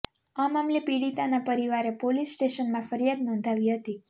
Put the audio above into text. આ મામલે પીડિતાના પરિવારે પોલીસ સ્ટેશનમાં ફરિયાદ નોંધાવી હતી